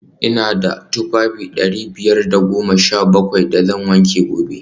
v Ina da tufafi dari biyar da goma sha bakwai da zan wanke gobe